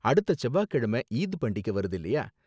அடுத்த செவ்வாய்க்கிழம ஈத் பண்டிகை வருது இல்லயா?